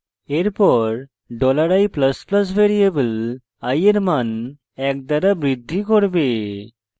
এরপর $i ++ variable i এর মান এক দ্বারা বৃদ্ধি করবে